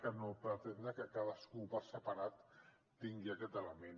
que no pretendre que cadascú per separat tingui aquest element